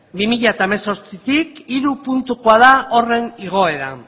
bi mila zortzitik hiru puntukoa da horren igoera